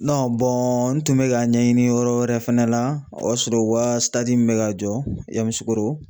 n tun bɛ ka ɲɛɲini yɔrɔ wɛrɛ fɛnɛ la o y'a sɔrɔ o ka min bɛ ka jɔ Yamusokoro